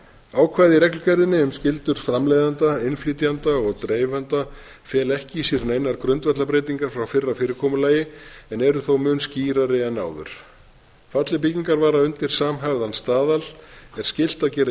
ákvæði í reglugerðinni um skyldur framleiðenda innflytjenda og dreifenda fela ekki í sér neinar grundvallarbreytingar frá fyrra fyrirkomulagi en eru þó mun skýrari en áður falli byggingarvara undir samhæfðan staðal er skylt að gera